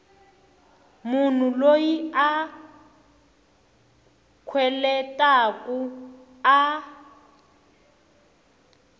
munhu loyi a kweletaku a